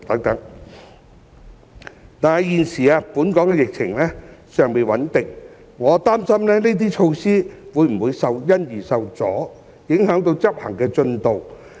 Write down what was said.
然而，鑒於現時本港的疫情尚未穩定，我擔心這些措施會否因而受阻，影響執行進度。